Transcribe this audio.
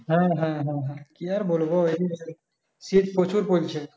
হ্যাঁ, হ্যাঁ, হ্যাঁ, হ্যাঁ কি আর বলবো শীত প্রচুর পড়ছে